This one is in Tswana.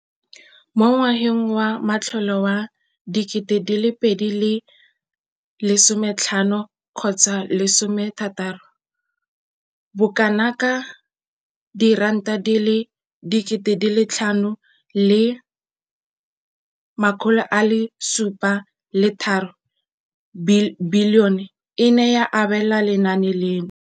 Mo ngwageng wa matlole wa 2015,16, bokanaka R5 703 bilione e ne ya abelwa lenaane leno.